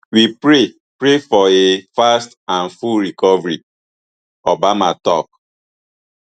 we pray pray for a fast and full recovery obama tok